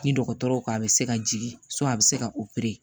Ni dɔgɔtɔrɔw ko a bɛ se ka jigin a bɛ se ka